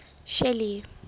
shelly